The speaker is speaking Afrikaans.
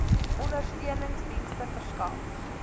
ondersteunings dienste verskaf